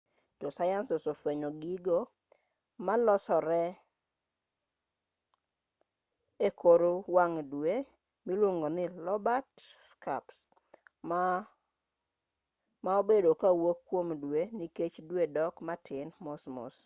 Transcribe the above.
josayans osefwenyo gigo ma-olosore ekor wang' dwe miluongo ni lobate scarps ma-obedo kowuok kuom dwe nikech dwe dok matin mosmos